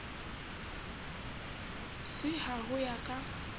c ha ho ya ka